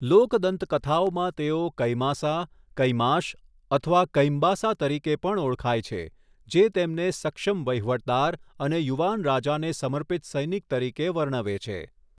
લોક દંતકથાઓમાં તેઓ કૈમાસા, કૈમાશ અથવા કૈમ્બાસા તરીકે પણ ઓળખાય છે, જે તેમને સક્ષમ વહીવટદાર અને યુવાન રાજાને સમર્પિત સૈનિક તરીકે વર્ણવે છે.